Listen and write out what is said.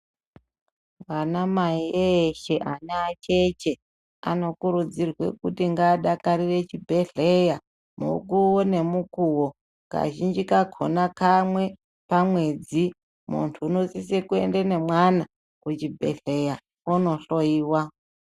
Vansmai eshe, anacheche anokurudzirwe kuti ngadakarire chibhedhleya mukuwo nemukuwo, kazhinji kakhona kamwe pamwedzi. Muntu unosise kuende nemwana kuchibhedhleya kunohloyiwa.